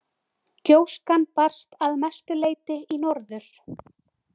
Gjóskan barst að mestu leyti í norður.